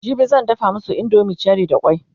jibi zan dafa masu indomin cherie da kwai